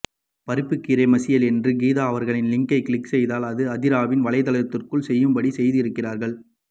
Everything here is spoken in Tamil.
பருப்புக்கீரை மசியல் என்று கீதா அவரகளின் லிங்கை க்ளிக் செய்தால் அது அதிராவின் வலைத்தளத்திற்கு செய்யும் படி செய்து இருக்கிறீர்கள்